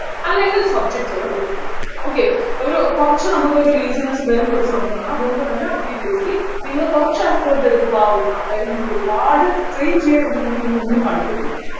അല്ലെങ്കിൽ subject കള് prefer ചെയ്യുക okay ഒരു കുറച്ച് നമ്മൾക്കൊരു laziness വരുന്ന ഒരു സമയമാണ് അതുകൊണ്ടുതന്നെ obviously നിങ്ങൾ കുറച്ച് effort എടുക്കാവുന്ന അതായത് നിങ്ങൾ ഒരുപാട് strain ചെയ്തിട്ടുണ്ടെങ്കി നിങ്ങൾക്ക് ഒന്നും പഠിക്കത്തില്ല